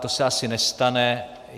To se asi nestane.